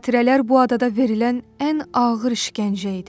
Xatirələr bu adada verilən ən ağır işgəncə idi.